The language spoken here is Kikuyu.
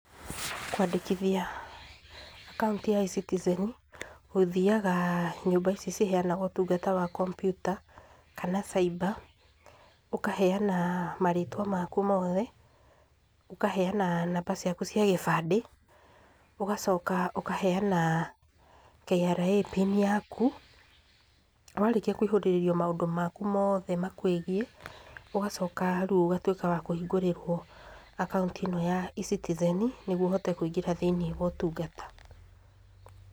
Kwandĩkithia akaunti ya ecitizen ũthĩaga nyũmba ici ciheanaga ũtũngata wa kompiuta kana cyber ũkaheana marĩtwa makũ mothe, ũkaheana namba cĩakũ cia gĩbandĩ, ũgacoka ũkaheana KRA PIN yaku warĩkĩa kũihũrĩrĩrio maũndũ makũ mothe makwĩgie, ũgacoka rĩu ũgatuĩka wa kũhĩngũrirwo akauntĩ ĩno ya ecitizen nĩguo ũhote kũingĩra thĩiniĩ wa ũtungata.